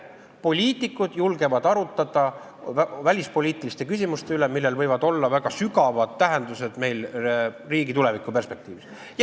Poliitikud julgevad arutada välispoliitiliste küsimuste üle, millel võib olla väga sügav tähendus meie riigi tulevikuperspektiivis.